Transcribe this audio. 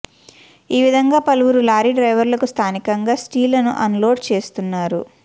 ఈ విధంగా పలువురు లారీ డ్రైవర్లు స్థానికంగా స్టీలును అన్లోడ్ చేస్తున్నారు